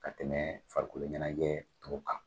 Ka tɛmɛ farikolo ɲɛnajɛ tɔw kan.